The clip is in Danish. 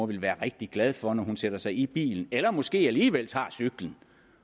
vil være rigtig glad for når hun sætter sig ind i bilen eller måske alligevel tager cyklen